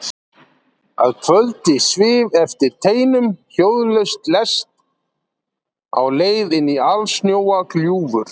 Að kvöldi svif eftir teinum hljóðlaus lest á leið inní alsnjóa gljúfur.